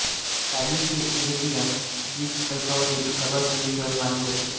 Cadiz हे Iberian द्वीपकल्पावरील सर्वात जुने शहर मानले जाते